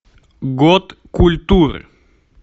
год культуры